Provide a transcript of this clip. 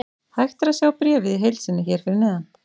Hægt er að sjá bréfið í heild sinni hér fyrir neðan.